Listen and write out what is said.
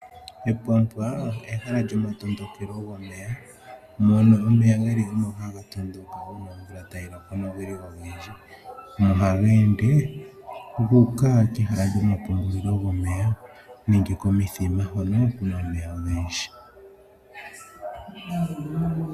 Epwampwa ehala lyomatondokelo gomeya mono omeya haga tondoka uuna omvula tayi loko nomeya gelipo ogendji. Omeya oha tondoka moka guuka komithima.